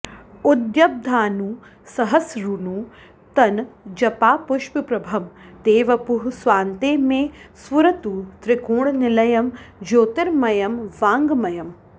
उद्यद्भानुसहस्रनूतनजपापुष्पप्रभं ते वपुः स्वान्ते मे स्फुरतु त्रिकोणनिलयं ज्योतिर्मयं वाङ्मयम्